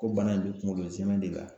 Ko bana in be kuŋolo zɛmɛ de ka